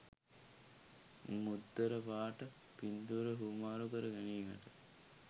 මුද්දර පාට පින්තූර හුවමාරු කර ගැනීමකට